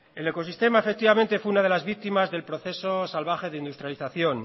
el ecosistema efectivamente fue una de las víctimas del proceso salvaje de industrialización